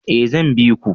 Eh zan biku